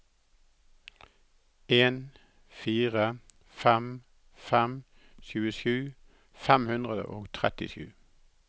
en fire fem fem tjuesju fem hundre og trettisju